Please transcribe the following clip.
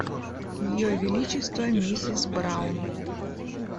ее величество миссис браун